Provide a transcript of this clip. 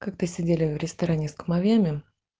как то сидели в ресторане с кумовьями